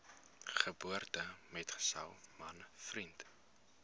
geboortemetgesel man vriend